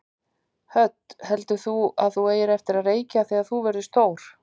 Hödd: Heldur þú að þú eigir eftir að reykja þegar þú verður stór?